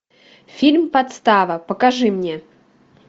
фильм подстава покажи мне